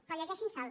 però llegeixin se’l